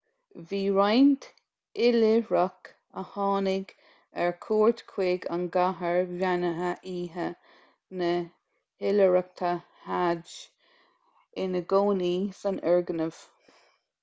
bhí roinnt oilithreach a tháinig ar cuairt chuig an gcathair bheannaithe oíche na hoilithreachta hajj ina gcónaí san fhoirgneamh